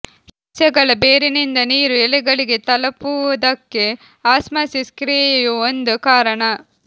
ಸಸ್ಯಗಳ ಬೇರಿನಿಂದ ನೀರು ಎಲೆಗಳಿಗೆ ತಲಪುವುದಕ್ಕೆ ಆಸ್ಮಾಸಿಸ್ ಕ್ರಿಯೆಯೂ ಒಂದು ಕಾರಣ